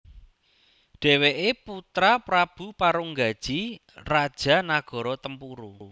Dheweke putra Prabu Parunggaji raja nagara Tempuru